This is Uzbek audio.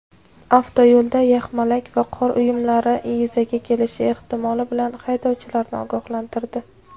avtoyo‘lda yaxmalak va qor uyumlari yuzaga kelish ehtimoli bilan haydovchilarni ogohlantirdi.